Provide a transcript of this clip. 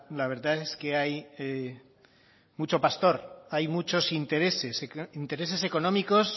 la verdad es que hay mucho pastor hay muchos intereses intereses económicos